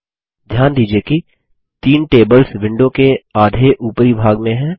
ध्यान दीजिये कि तीन टेबल्स विंडो के आधे उपरी भाग में हैं